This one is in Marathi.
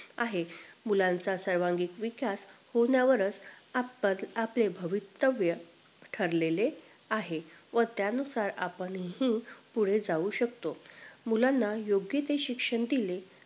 आहे मुलांचा सर्वांगीण विकास होण्यावरच आपले भवितव्य ठरलेलं आहे व त्या नुसार आपण हम्म पुढे जाऊ शकतो मुलांना योग्य ते शिक्षण दिले